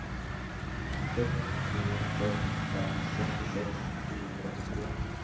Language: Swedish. sex två sex fem sextiosex sjuhundraåttiotvå